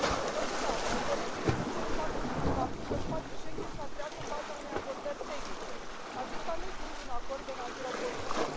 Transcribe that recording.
Totodată, doresc să evidențiez faptul că spațiul Schengen s a creat în baza unei abordări tehnice, acesta nefiind un acord de natură politică.